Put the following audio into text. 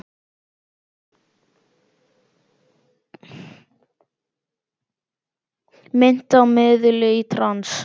Minnti á miðil í trans.